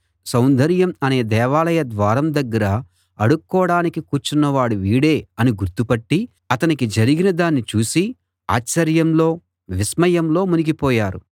సౌందర్యం అనే దేవాలయ ద్వారం దగ్గర అడుక్కోడానికి కూర్చున్నవాడు వీడే అని గుర్తుపట్టి అతనికి జరిగిన దాన్ని చూసి ఆశ్చర్యంలో విస్మయంలో మునిగిపోయారు